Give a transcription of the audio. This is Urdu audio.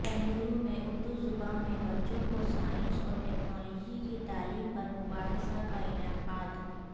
بنگلورو میں اردو زبان میں بچوں کو سائنس اورٹیکنالوجی کی تعلیم پر مباحثہ کا انعقاد